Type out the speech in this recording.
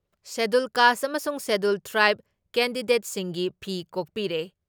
Schedule caste ꯑꯃꯁꯨꯡ schedule ꯇ꯭ꯔꯥꯏꯕ ꯀꯦꯟꯗꯤꯗꯦꯠꯁꯤꯡꯒꯤ ꯐꯤ ꯀꯣꯛꯄꯤꯔꯦ ꯫